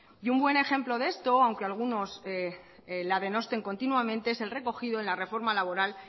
y un buen ejemplo de esto aunque algunos la denoten continuamente es el recogido en la reforma laboral